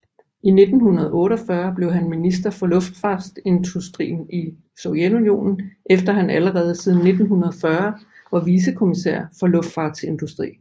I 1948 blev han minister for luftfartsindustri i Sovjetunionen efter han allerede siden 1940 var vicefolkekommisær for luftfartsindustri